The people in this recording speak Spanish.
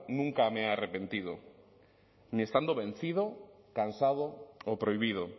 nunca me he arrepentido ni estando vencido cansado o prohibido